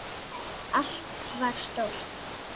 Allt var stórt.